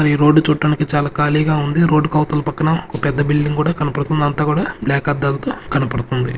Road చూడడానికి చాలా ఖాళీ గా ఉంది రోడ్ ఆవుతల పక్కన పెద్ద బిల్డింగ్ కూడా కనబడుతుంది అంత కూడా బ్లాక్ అద్దాల తో కనబడుదుతుంది.